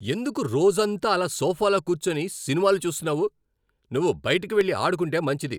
ఎందుకు రోజంతా అలా సోఫాలో కూర్చొని సినిమాలు చూస్తున్నావు? నువ్వు బయటకి వెళ్లి ఆడుకుంటే మంచిది!